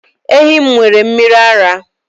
Ehi m nwere mmiri ara